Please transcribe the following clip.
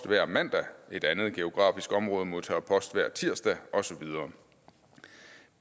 hver mandag et andet geografisk område modtager post hver tirsdag og så videre